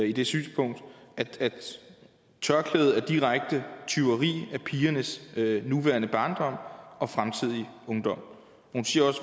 i det synspunkt at tørklædet er et direkte tyveri af pigernes nuværende barndom og fremtidige ungdom hun siger